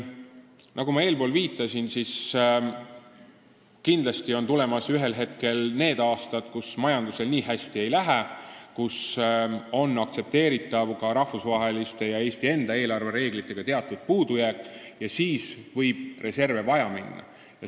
Nagu ma eespool viitasin, kindlasti on millalgi tulemas need aastad, kui majandusel nii hästi ei lähe ning kui ka rahvusvaheliste ja Eesti enda eelarvereeglitega on aktsepteeritav teatud puudujääk, ning siis võib reserve vaja minna.